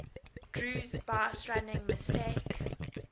drew's baserunning mistake